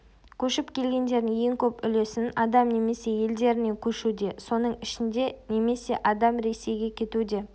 көшіп келгендердің ең көп үлесін адам немесе елдерінен көшуде соның ішінде інемесе адам ресейге кетуде